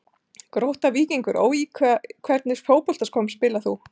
Grótta-Víkingur Ó Í hvernig fótboltaskóm spilar þú?